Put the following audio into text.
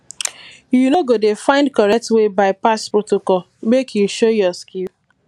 you go dey find correct way bypass protocol make you show your skill